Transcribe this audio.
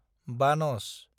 बानस